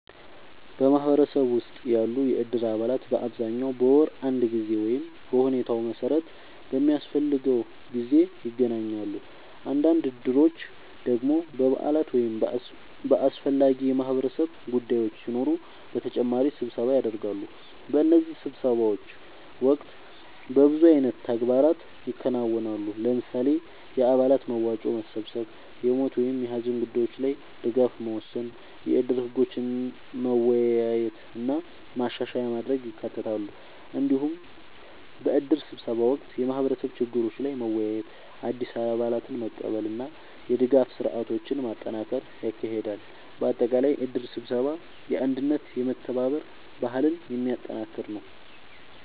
በማህበረሰብ ውስጥ ያሉ የእድር አባላት በአብዛኛው በወር አንድ ጊዜ ወይም በሁኔታው መሠረት በሚያስፈልገው ጊዜ ይገናኛሉ። አንዳንድ እድሮች ደግሞ በበዓላት ወይም በአስፈላጊ የማህበረሰብ ጉዳዮች ሲኖሩ በተጨማሪ ስብሰባ ያደርጋሉ። በእነዚህ ስብሰባዎች ወቅት በብዙ አይነት ተግባራት ይከናወናሉ። ለምሳሌ፣ የአባላት መዋጮ መሰብሰብ፣ የሞት ወይም የሀዘን ጉዳዮች ላይ ድጋፍ መወሰን፣ የእድር ህጎችን መወያየት እና ማሻሻያ ማድረግ ይካተታሉ። እንዲሁም በእድር ስብሰባ ወቅት የማህበረሰብ ችግሮች ላይ መወያየት፣ አዲስ አባላትን መቀበል እና የድጋፍ ስርዓቶችን ማጠናከር ይካሄዳል። በአጠቃላይ እድር ስብሰባ የአንድነትና የመተባበር ባህልን የሚያጠናክር ነው።